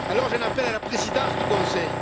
Alors j'en appelle à la présidence du Conseil.